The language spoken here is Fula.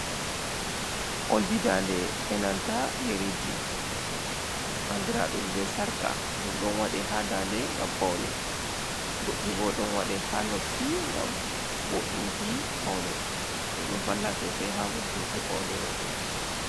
Oldi dande e nanta yeriji, andiraɗum be sarƙa. Ɗum ɗo waɗe ha dande ngam paune. Goɗɗi bo ɗon waɗe ha noppi ngam voɗinki paune. Ɗum ɗo valla sosai ha vurtinki paune rowɓe.